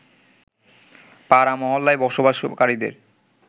পাড়া-মহল্লায় বসবাসকারীদের